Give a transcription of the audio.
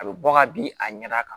A bɛ bɔ ka bin a ɲɛda kan